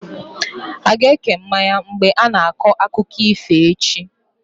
A ga-eke mmanya mgbe a ga na-akọ akụkọ ifo echi?